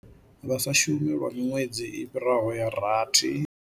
Vha sa shumi lwa miṅwedzi i fhiraho ya rathi.